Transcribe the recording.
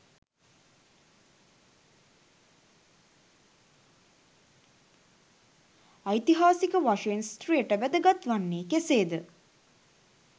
ඓතිහාසික වශයෙන් ස්ත්‍රියට වැදගත් වන්නේ කෙසේද?